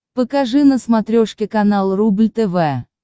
покажи на смотрешке канал рубль тв